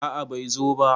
a a bai zo ba